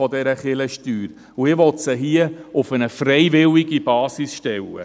Ich möchte sie jedoch auf eine freiwillige Basis stellen.